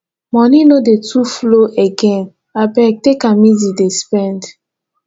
moni no dey too flow again abeg take am easy dey spend